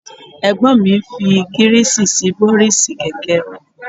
Ẹ̀gbọ́n mi ń fi Gíríìsì sí bọ́rísì kẹ̀kẹ́ wọn